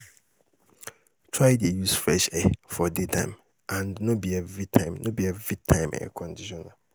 try dey use fresh air for daytime and no bi evritime air conditioner